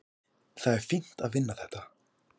Það er fínt að vinna þetta.